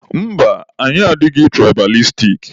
Mba, anyị adịghị tụraịbalistik.